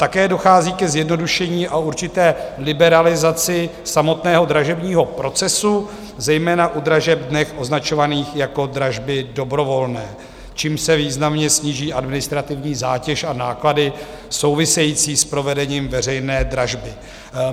Také dochází ke zjednodušení a určité liberalizaci samotného dražebního procesu, zejména u dražeb dnes označovaných jako dražby dobrovolné, čímž se významně sníží administrativní zátěž a náklady související s provedením veřejné dražby.